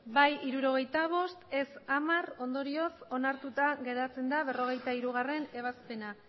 bai hirurogeita bost ez hamar ondorioz onartuta geratzen da berrogeita hirugarrena ebazpena